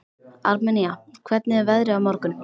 Armenía, hvernig er veðrið á morgun?